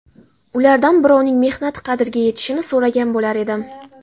Ulardan birovning mehnati qadriga yetishini so‘ragan bo‘lar edim.